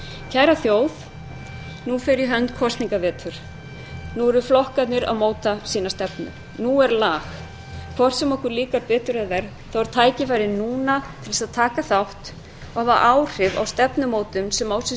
kæra þjóð nú fer í hönd kosningavetur nú eru flokkarnir að móta sína stefnu nú er lag hvort sem okkur líkar betur eða verr þá er tækifærið núna til að taka þátt og hafa áhrif á stefnumótun sem á sér